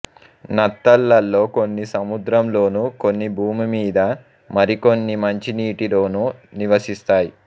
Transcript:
నత్తలలో కొన్ని సముద్రంలోను కొన్ని భూమి మీద మరికొన్ని మంచినీటిలోను నివసిస్తాయి